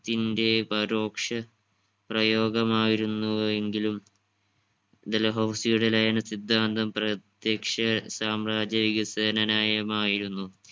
ത്തിന്റെ പരോക്ഷ പ്രയോഗമായിരുന്നുവെങ്കിലും ഡൽഹൗസിയുടെ ലയന സിദ്ധാന്തം പ്രത്യക്ഷ സാമ്രാജ്യ വികസന നയമായിരുന്നു.